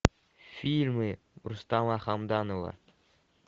фильмы рустама хамдамова